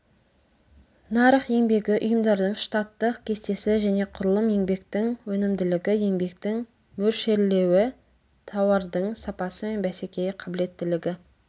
нарық еңбегі ұйымдардың штаттық кестесі және құрылым еңбектің өнімділігі еңбектің мөлшерлеуі тауардың сапасы мен бәсекеге қабілеттілігі